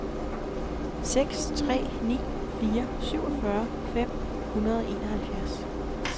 seks tre ni fire syvogfyrre fem hundrede og enoghalvfjerds